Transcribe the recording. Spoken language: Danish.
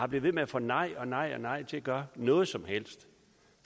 bliver ved med at få nej nej og nej til at gøre noget som helst